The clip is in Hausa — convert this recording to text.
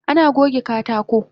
Ana goge katako